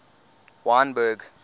wynberg